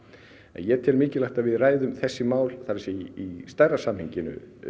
en ég tel mikilvægt að við ræðum þessi mál í stærra samhengi